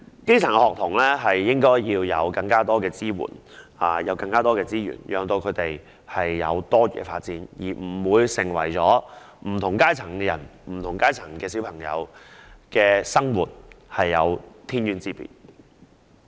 基層學童應獲得更多支援和資源作多元發展，令不同階層的人士和兒童的生活不會有天淵之別。